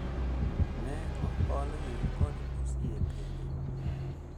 Ne oholgi kod osiepegi